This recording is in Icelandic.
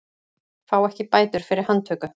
Fá ekki bætur fyrir handtöku